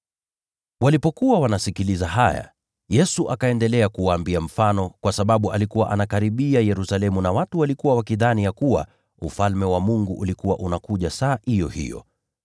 Walipokuwa wanasikiliza haya, Yesu akaendelea kuwaambia mfano, kwa sababu alikuwa anakaribia Yerusalemu na watu walikuwa wakidhani ya kuwa Ufalme wa Mungu ulikuwa unakuja saa iyo hiyo.